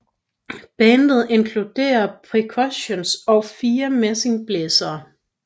Bandet inkluderede percussion og fire messingblæsere